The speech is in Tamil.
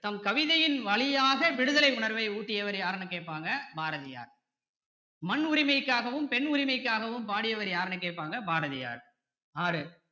தம் கவிதையின் வழியாக விடுதலை உணர்வை ஊட்டியவர் யாருன்னு கேட்பாங்க பாரதியார் மண் உரிமைக்காகவும் பெண் உரிமைக்காகவும் பாடியவர் யாருன்னு கேட்பாங்க பாரதியார் ஆறு